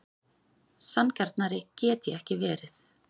Sanngjarnari get ég ekki verið.